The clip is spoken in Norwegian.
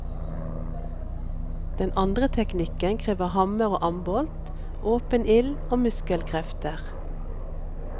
Den andre teknikken krever hammer og ambolt, åpen ild og muskelkrefter.